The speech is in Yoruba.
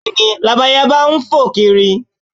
Bẹ́ẹ̀ni, Labalábá ń fò kiri